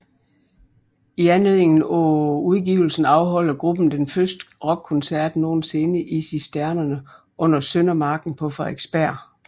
I anledningen af udgivelsen afholder gruppen den første rockkoncert nogensinde i Cisternerne under Søndermarken på Frederiksberg